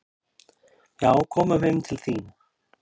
"""Já, komum heim til þín."""